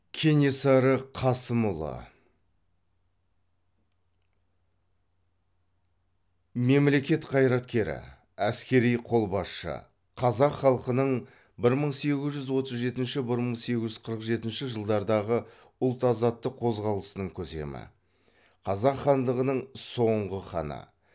кенесары қасымұлы мемлекет қайраткері әскери қолбасшы қазақ халқының бір мың сегіз жүз отыз жетінші бір мың сегіз жүз қырық жетінші жылдардағы ұлт азаттық қозғалысының көсемі қазақ хандығының соңғы ханы